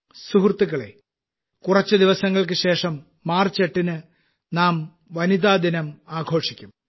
സുഹൃത്തുക്കളേ കുറച്ച് ദിവസങ്ങൾക്ക് ശേഷം മാർച്ച് 8 ന് നാം വനിതാദിനം ആഘോഷിക്കും